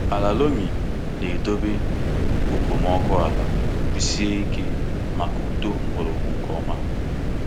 Ala loamy na-edobe okpomọkụ ala kwụsie ike maka uto mgbọrọgwụ nke ọma.